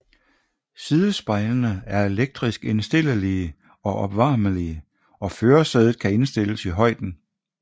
Sidespejlene er elektrisk indstillelige og opvarmelige og førersædet kan indstilles i højden